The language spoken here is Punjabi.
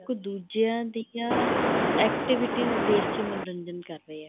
ਦੂਜਿਆ ਦੀਆ activities ਦੇਖਕੇ ਮੰਨੋਰੰਜਨ ਕਰ ਰਹੇ ਏ